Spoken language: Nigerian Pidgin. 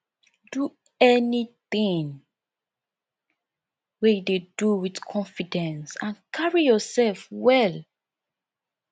do anything wey you dey do with confidence and carry yourself well